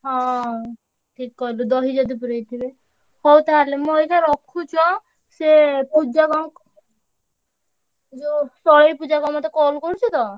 ହଁ ଠିକ୍ କହିଲୁ ଦହି ଯଦି ପୁରେଇ ଥିବେ। ହଉ ତାହେଲେ ମୁଁ ଅଇଖା ~ର ~ଖୁଛି ଆଁ। ସେ ପୂଜା କଣ ଯୋଉ ତଳେଇ ପୂଜା କଣ ମତେ call କରୁଚି ତ।